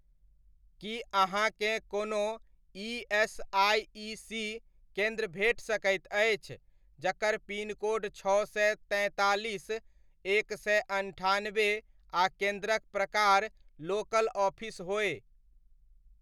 की अहाँकेँ कोनो ईएसआइसी केन्द्र भेट सकैत अछि जकर पिनकोड छओ सए तैंतालीस, एक सए अन्ठानबे आ केन्द्रक प्रकार लोकल ऑफिस होय?